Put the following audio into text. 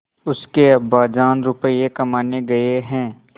उसके अब्बाजान रुपये कमाने गए हैं